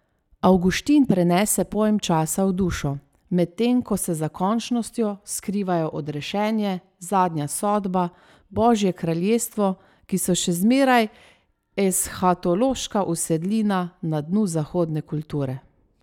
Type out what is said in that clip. Avguštin prenese pojem časa v dušo, medtem ko se za končnostjo skrivajo Odrešenje, Zadnja sodba, Božje kraljestvo, ki so še zmeraj eshatološka usedlina na dnu zahodne kulture.